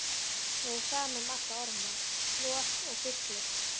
Mér er sama um alla orma, slor og fisklykt.